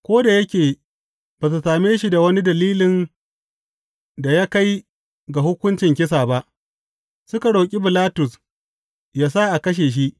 Ko da yake ba su same shi da wani dalilin da ya kai ga hukuncin kisa ba, suka roƙi Bilatus yă sa a kashe shi.